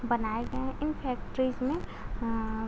बनाया गया है। इन फैक्टरीज में अं --